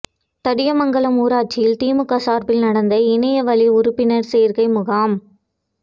தடியமங்கலம் ஊராட்சியில் திமுக சார்பில் நடந்த இணைய வழி உறுப்பினர் சேர்க்கை முகாம்